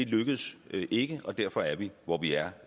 lykkedes ikke og derfor er vi hvor vi er